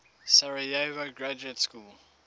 sarajevo graduate school